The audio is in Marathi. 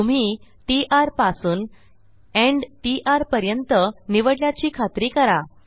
तुम्ही टीटी र पासून एंड टीटी र पर्यंत निवडल्याची खात्री करा